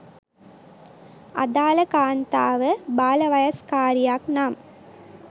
අදාළ කාන්තාව බාලවයස්කාරියක් නම්